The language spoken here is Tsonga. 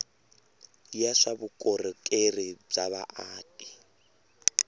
ya swa vukorhokeri bya vaaki